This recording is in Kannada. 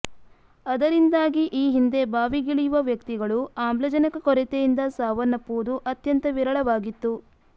ಅದರಿಂದಾಗಿ ಈ ಹಿಂದೆ ಬಾವಿಗಿಳಿಯುವ ವ್ಯಕ್ತಿಗಳು ಆಮ್ಲಜನಕ ಕೊರತೆಯಿಂದ ಸಾವನ್ನಪ್ಪುವುದು ಅತ್ಯಂತ ವಿರಳವಾಗಿತ್ತು